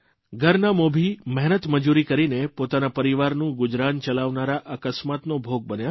ઘરના મોભી મહેનત મજૂરી કરીને પોતાના પરિવારનું ગુજરાન ચલાવનારા અકસ્માતનો ભોગ બન્યા